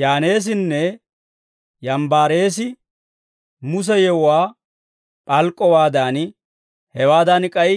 Yaaneesinne Yambbareesi Muse yewuwaa p'alk'k'owaadan, hewaadan k'ay